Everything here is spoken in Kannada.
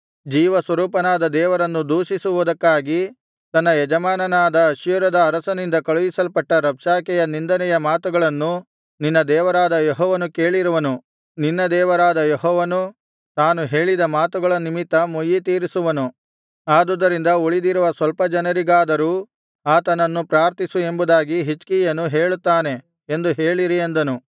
ಜೀವಸ್ವರೂಪನಾದ ದೇವರನ್ನು ದೂಷಿಸುವುದಕ್ಕಾಗಿ ತನ್ನ ಯಜಮಾನನಾದ ಅಶ್ಶೂರದ ಅರಸನಿಂದ ಕಳುಹಿಸಲ್ಪಟ್ಟ ರಬ್ಷಾಕೆಯ ನಿಂದನೆಯ ಮಾತುಗಳನ್ನು ನಿನ್ನ ದೇವರಾದ ಯೆಹೋವನು ಕೇಳಿರುವನು ನಿನ್ನ ದೇವರಾದ ಯೆಹೋವನು ತಾನು ಹೇಳಿದ ಮಾತುಗಳ ನಿಮಿತ್ತ ಮುಯ್ಯಿತೀರಿಸುವನು ಆದುದರಿಂದ ಉಳಿದಿರುವ ಸ್ವಲ್ಪ ಜನರಿಗಾಗಿಯಾದರೂ ಆತನನ್ನು ಪ್ರಾರ್ಥಿಸು ಎಂಬುದಾಗಿ ಹಿಜ್ಕೀಯನು ಹೇಳುತ್ತಾನೆ ಎಂದು ಹೇಳಿರಿ ಅಂದನು